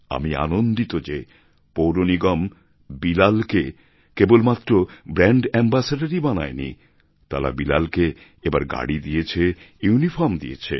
আমি আনন্দিত যে পৌরনিগম বিলালকে কেবল মাত্র ব্র্যাণ্ড অ্যাম্বাসেডর ই বানায়নি তারা বিলালকে এবার গাড়ি দিয়েছে ইউনিফর্ম দিয়েছে